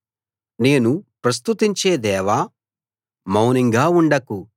నేను ప్రస్తుతించే దేవా మౌనంగా ఉండకు